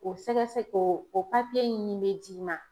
O sɛgɛsɛgɛ o papiye in min be d'i ma